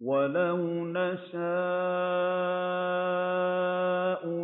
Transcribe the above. وَلَوْ نَشَاءُ